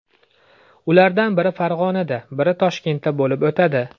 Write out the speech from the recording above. Ulardan biri Farg‘onada, biri Toshkentda bo‘lib o‘tadi.